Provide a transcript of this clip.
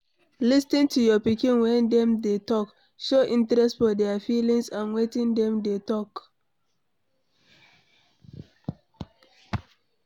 Lis ten to your pikin when dem dey talk, show interest for their feelings and wetin dem dey talk